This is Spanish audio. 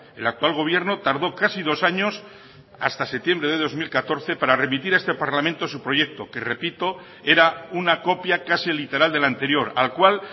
el actual gobierno tardó casi dos años hasta septiembre de dos mil catorce para remitir a este parlamento su proyecto que repito era una copia casi literal de la anterior al cual